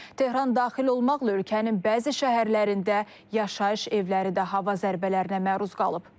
Tehran daxil olmaqla ölkənin bəzi şəhərlərində yaşayış evləri də hava zərbələrinə məruz qalıb.